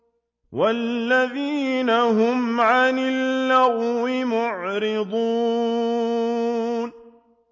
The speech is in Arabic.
وَالَّذِينَ هُمْ عَنِ اللَّغْوِ مُعْرِضُونَ